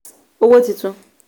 owó titun